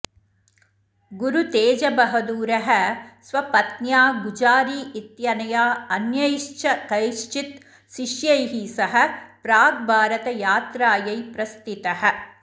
गुरुतेजबहदूरः स्वपत्न्या गुजारि इत्यनया अन्यैश्च कैश्चित् शिष्यैः सह प्राग्भारतयात्रायै प्रस्थितः